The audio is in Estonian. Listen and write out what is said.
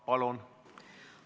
Palun!